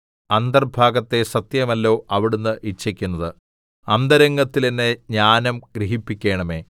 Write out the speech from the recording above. അന്തർഭാഗത്തെ സത്യമല്ലോ അവിടുന്ന് ഇച്ഛിക്കുന്നത് അന്തരംഗത്തിൽ എന്നെ ജ്ഞാനം ഗ്രഹിപ്പിക്കേണമേ